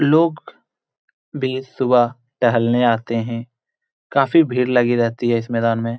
लोग भी सुबह टहलने आते हैं काफी भीड़ लगी रहती है इस मैदान में।